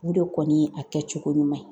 U de kɔni ye a kɛ cogo ɲuman ye.